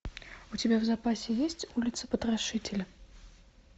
у тебя в запасе есть улица потрошителя